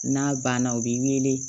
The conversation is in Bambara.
N'a banna u b'i wele